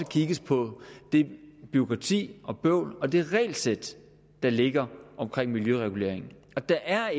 kigges på det bureaukrati og bøvl og det regelsæt der ligger omkring miljøreguleringen der er